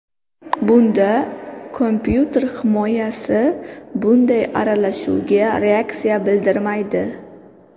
Bunda kompyuter himoyasi bunday aralashuvga reaksiya bildirmaydi.